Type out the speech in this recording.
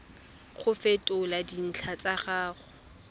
go fetola dintlha tsa gago